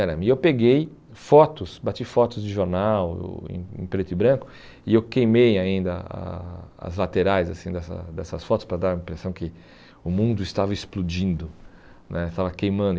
E eu peguei fotos, bati fotos de jornal em preto e branco e eu queimei ainda a as laterais dessa dessas fotos para dar a impressão que o mundo estava explodindo né, estava queimando.